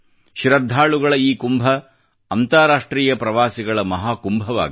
ಶ್ರಧ್ಧಾಳುಗಳ ಈ ಕುಂಭ ಅಂತರಾಷ್ಟ್ರೀಯ ಪ್ರವಾಸಿಗಳ ಮಹಾ ಕುಂಭವಾಗಲಿ